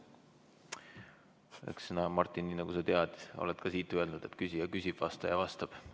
Sina, Martin, nagu sa tead, oled ka siit öelnud, et küsija küsib ja vastaja vastab.